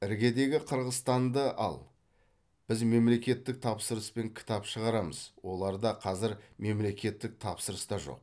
іргедегі қырғызстанды ал біз мемлекеттік тапсырыспен кітап шығарамыз оларда қазір мемлекеттік тапсырыс та жоқ